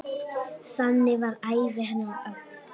Þannig var ævi hennar öll.